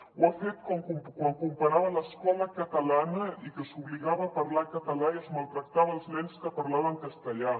ho ha fet quan comparava l’escola catalana i que s’obligava a parlar català i es maltractava els nens que parlaven castellà